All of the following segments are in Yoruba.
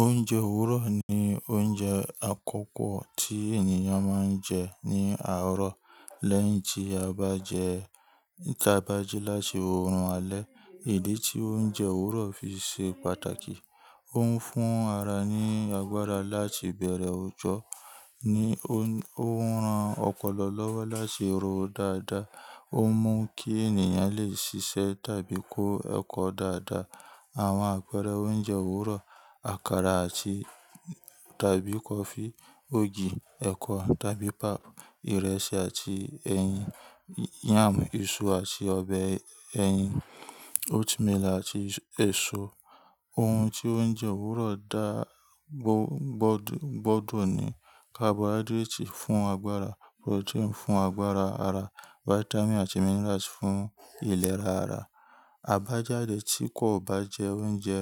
Oúnjẹ òwúrọ̀ ni oúnjẹ àkọ́kọ́ tí ènìyàn máa ń jẹ ní àárọ̀ lẹ́yìn tí a bá jẹ́ tá bá jí láti òórùn alẹ́. Ìdí tí oúnjẹ òwúrọ̀ fi ṣe pàtàkì, ó ń fún ara ní agbára láti bẹ̀rẹ̀ ọjọ́, ó ń ran ọpọlọ lọ́wọ́ láti rọ̀ dáadáa, ó ń mú kí ènìyàn lè ṣiṣẹ́ tàbí kó ẹ̀kọ́ dáadáa. Àwọn àpẹẹrẹ oúnjẹ òwúrọ̀, àkàrà àti tàbí kọfí, ògì, ẹ̀kọ tàbí pap, ìrẹsì àti ẹyin, yam, iṣu àti ọbẹ̀ ẹyin, oatmeal àti èso. Oun tí oúnjẹ òwúrọ̀ dá gbo, gbo- gbọ́dọ̀ ni carbohydrate fún agbára, protein fún agbára ara, vitamin àti minerals fún ìlera ara. Àbájáde tí kò bá jẹ oúnjẹ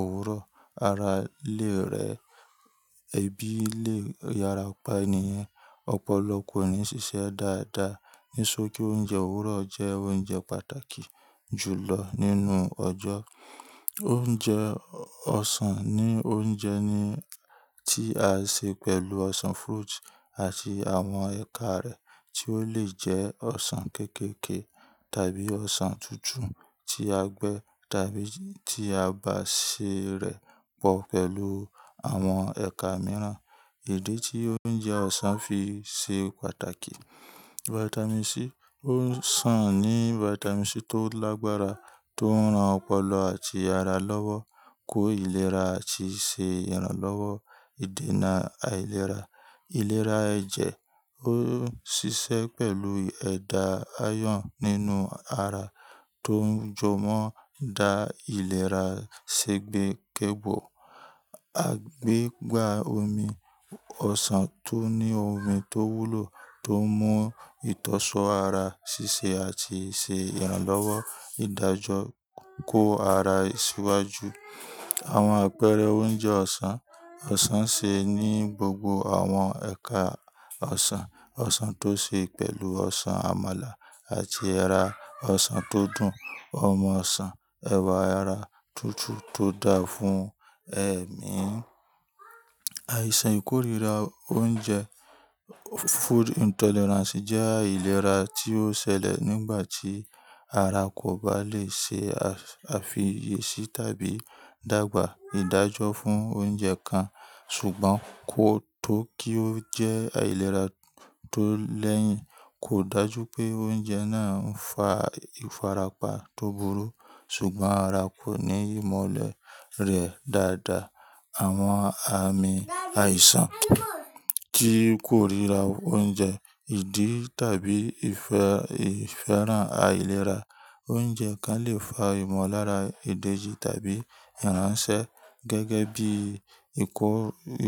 òwúrọ̀, ara lè rẹ, ẹbí lè yára pa ènì yen, ọpọlọ kò ní ṣiṣẹ́ dáadáa. Ní ṣokí oúnjẹ òwúrọ̀ jẹ́ oúnjẹ pàtàkì jù lọ nínú ọjọ́. Oúnjẹ ọsàn ni oúnjẹ ní tí a n ṣe pẹ̀lú ọsàn fruit àti àwọn ẹ̀ka rẹ̀ tí ó lè jẹ́ ọsàn kéékèèké tàbí ọsàn tútù tí a gbẹ tàbí tí a bá sè rẹ̀ pọ̀ pẹ̀lú àwọn ẹ̀ka mìíràn. Ìdí tí oúnjẹ ọsàn fi ṣe pàtàkì, vitamin C, ọsàn ní vitamin C tó lágbára tó ń ran ọpọlọ àti ara lọ́wọ́ kó ìlera àti ṣe ìrànlọ́wọ́ ìdènà àìlera. Ìlera ẹ̀jẹ̀, ó ń ṣiṣẹ́ pẹ̀lú ẹ̀dà iron nínú ara tó ń jomọ da ìlera sẹ́gbẹ́kẹ́gbọ́. Àgbé gbá omi, ọsàn tó ní omi tó wúlò tó ń mú ìtọ́sọ̀ọ́ ara ṣiṣẹ́ àti ṣe ìrànlọ́wọ́ ìdájọ́ kó ara síwájú. Àwọn àpẹẹrẹ oúnjẹ ọsàn, ọsàn ṣe ní gbogbo àwọn ẹ̀ka ọsàn. Ọsàn tó ṣe pẹ̀lú ọsàn amala àti ẹra, ọsàn tó dùn, omi ọsàn, ẹ̀wà ara tútù tó dáa fún ẹ̀mí. Àìsàn ìkórìíra oúnjẹ, food intolerance jẹ́ àìlera tí ó ṣẹlẹ̀ nígbà tí ara kò bá lè ṣe àfiyèsí tàbí dàgbà ìdájọ́ fún oúnjẹ kan ṣùgbọ́n kó tó kí ó jẹ́ àìlera tó lẹ́yìn kò dájú pé oúnjẹ náà ń fa ìfarapa tó burú ṣùgbọ́n ara kò ní ìmọ̀lẹ̀ rẹ̀ dáadáa. Àwọn àmì àìsàn tí kórira oúnjẹ, ìdí tàbí ìfẹ́ ìfẹ́ràn àìlera. Oúnjẹ kan lè fa ìmọ̀lára èdè ji tàbí ìránṣẹ́ gẹ́gẹ́ bí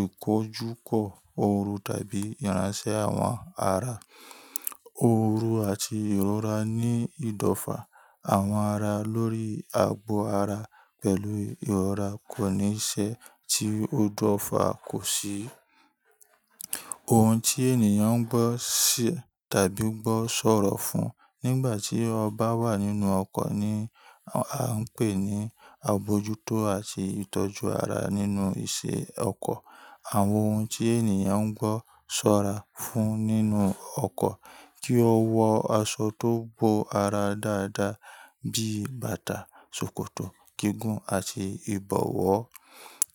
ìkójúkọ ooru tàbí ìránṣẹ́ àwọn ara. Ooru àti ìrora ní ìdọ̀fà àwọn ara lórí agbo ara pẹ̀lú ìrora kò ní í ṣe tí ó dọ̀fà kò sí. Ohun tí ènìyàn ń gbọ́ ṣi tàbí gbọ́ ṣọ̀rọ̀ fún nígbà tí ọ bá wà nínú ọkọ̀ ni a ń pè ní àbojútó àti ìtọ́jú ara nínú ìṣe ọkọ̀. Àwọn ohun tí ènìyàn ń gbọ́ ṣọ́ra fún nínú ọkọ̀, kí ó wọ aṣọ tó bo ara dáadáa bí bàtà, ṣòkòtò, gígùn àti ìbọ̀wọ́.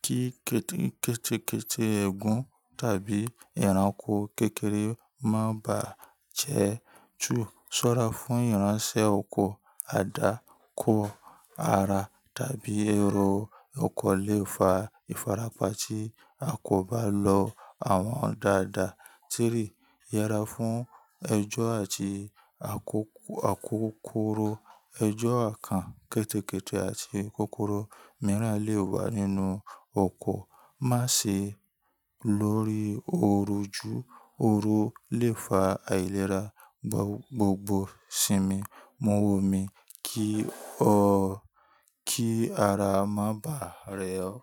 Kí kéékèèké ègún tàbí ìranko kékeré má bá jẹ́ ju. Sọ́ra fún ìránṣẹ́ ọkọ̀, àdá kó ara tàbí èrò ọkọ̀ lè fa ìfarapa tí a kò bá lo àwọn ọ̀dà àdà. Tírì, yera fún ẹjọ́ àti àkókòró. Ẹjọ́ kan kéékèèké àti kókóró mìíràn lè wà nínú ọkọ̀. Má sì lọ̀rí òru ju. Ooru lè fa àìlera gbogbo sinmi, mu omi kí ọ kí ara má bàa rẹ ọ.